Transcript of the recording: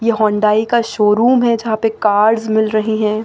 ये होंडाई का शोरूम है जहां पे कार्स मिल रही हैं।